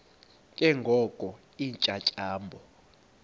ke ngoko iintyatyambo